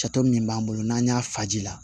Jato min b'an bolo n'an y'a faji la